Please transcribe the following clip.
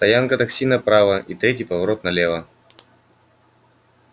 стоянка такси направо и третий поворот налево